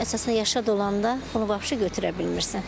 Əsasən yaşa dolanda bunu götürə bilmirsən.